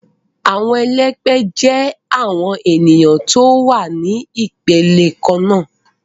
Awọn ẹlẹgbẹ jẹ awon eniyan ti o wa ni ipele kanna